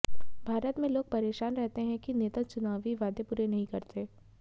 भारत में लोग परेशान रहते है कि नेता चुनावी वादे पूरे नहीं करते